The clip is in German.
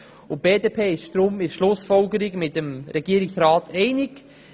Deshalb ist die BDP in der Schlussfolgerung mit dem Regierungsrat einig.